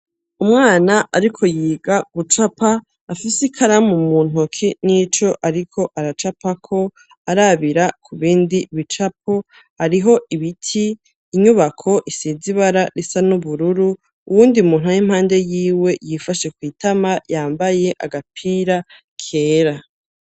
Umwana ariko yiga gucapa afise ikaramu mu ntoki n'ico ariko aracapa ko arabira ku bindi bicapo ariho ibiti inyubako isize ibara risa n'ubururu uwundi muntu aw'impande yiwe yifashe kuitama yambaye agapira kera.